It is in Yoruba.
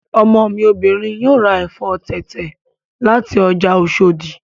Ọmọ mi obìnrin yóò ra ẹ̀fọ́ tẹ̀tẹ̀ láti ọjà Oshòdì